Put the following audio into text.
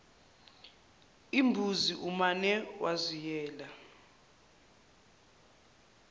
imbuzi umane waziyela